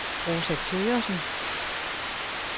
Rosa Thøgersen